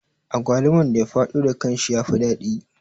Agwaluman da ya faɗo da kanshi ya fi daɗi